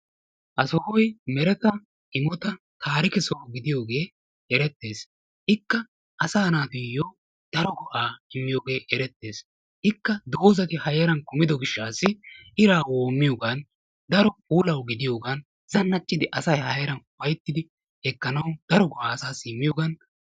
Ha sohoy mereta imota taarike soho gidiyoogee erettes. ikka asaa naatuyoo daro go'aa immiyoogee erettes. Ikka doozzati ha heeran kumido gishshaassi iraa woommiyoogan iraa woommiyoogan daro puulawu gidiyoogan zannaxxidi asay a heeran ufayttidi ekkanawu daro go'aa asaassi immiyoogan...